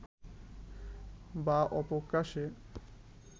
বা অপ্রকাশ্যে